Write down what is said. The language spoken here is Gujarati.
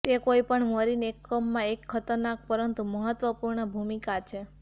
તે કોઈપણ મરીન એકમમાં એક ખતરનાક પરંતુ મહત્વપૂર્ણ ભૂમિકા છે